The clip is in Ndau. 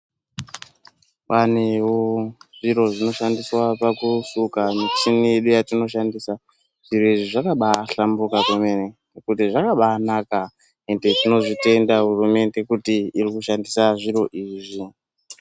Panewo zviro zvinoshandiswa pakusuka michini yedu yetinoshandisa zviro izvi zvakabahlambuka kwemene kuti zvakambanaka ende tinozvitenda hurumende kuti iri kushandisa zviro izvi.